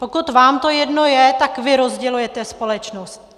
Pokud vám to jedno je, tak vy rozdělujete společnost.